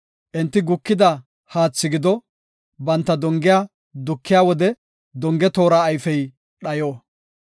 Enti gukida haathi gido; banta dongiya dukiya wode, donge toora ayfey dhayo.